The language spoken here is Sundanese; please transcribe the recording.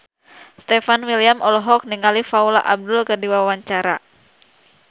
Stefan William olohok ningali Paula Abdul keur diwawancara